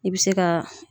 I bɛ se ka